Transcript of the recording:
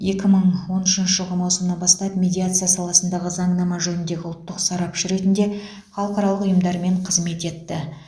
екі мың он үшінші жылғы маусымнан бастап медиация саласындағы заңнама жөнінде ұлттық сарапшы ретінде халықаралық ұйымдармен қызмет етті